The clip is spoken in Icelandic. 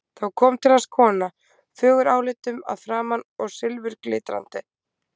Þá kom til hans kona, fögur álitum að framan og silfurglitrandi.